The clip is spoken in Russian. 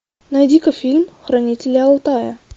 найди ка фильм хранители алтая